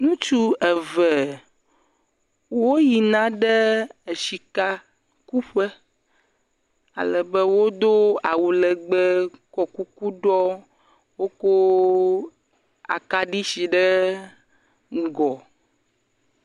Ŋutsu eve woyina ɖe esika kuƒe, ale be wodo awu legbee kɔ kuku ɖɔ. Woko akaɖi si ɖe ŋgɔ.